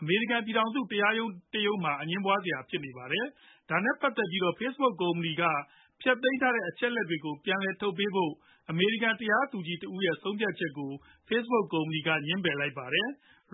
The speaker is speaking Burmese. အမေရိကန် ပြည်ထောင်စု တရားရုံးတခုမှာ အငြင်းပွားစရာ ဖြစ်နေပါတယ်။ ဒါနဲ့ပတ်သက်ပြီး Facebook ကုမ္ပဏီက ဖျက်သိမ်းပစ်ခဲ့တဲ့ အချက်လက်တွေကို ပြန်လည်ထုတ်ပေးဖို့ အမေရိကန် တရားသူကြီးတဦးရဲ့ ဆုံးဖြတ်ချက်ကို Facebook ကုမ္ပဏီက ငြင်းပယ်လိုက်ပါတယ်။